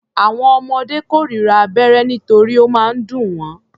Àwọn ọmọdé kórira abẹ́rẹ́ nítorí ó máa ń dùn wọ́.